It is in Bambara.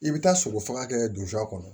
I bɛ taa sɔgɔ faga kɛ donfa kɔnɔ